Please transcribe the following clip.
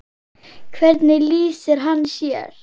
Hvernig lýsir hann sér?